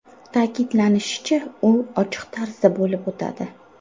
Ta’kidlanishicha, u ochiq tarzda bo‘lib o‘tadi.